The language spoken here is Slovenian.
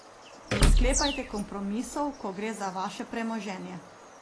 Ne sklepajte kompromisov, ko gre za vaše premoženje.